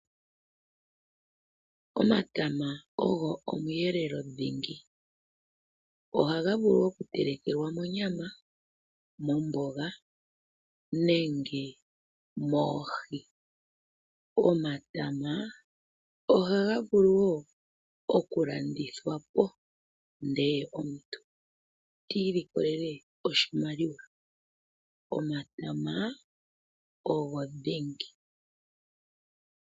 Omatama ogo omweelelo dhingi. Ohaga vulu okutelekelwa monyama, momboga nenge moohi. Omatama ohaga vulu wo okulandithwa po ndele omuntu ti imonene oshimaliwa, omatama ogo dhingi.